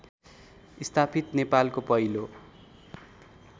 स्थापित नेपालको पहिलो